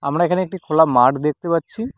আমরা এখানে একটি খোলা মাঠ দেখতে পাচ্ছি।